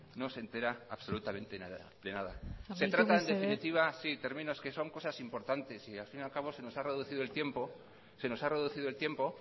no se entera absolutamente de nada amaitu mesedez se trata en definitiva sí termino es que son cosas importantes y al fin y al cabo se nos ha reducido el tiempo